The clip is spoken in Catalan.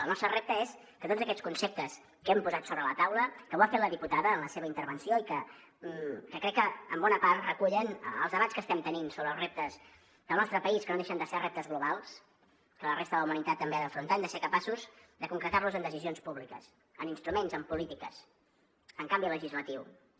el nostre repte és que tots aquests conceptes que hem posat sobre la taula que ho ha fet la diputada en la seva intervenció i que crec que en bona part recullen els debats que estem tenint sobre els reptes del nostre país que no deixen de ser reptes globals que la resta de la humanitat també ha d’afrontar hem de ser capaços de concretar los en decisions públiques en instruments en polítiques en canvi legislatiu també